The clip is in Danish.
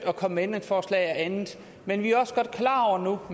at komme med ændringsforslag og andet men vi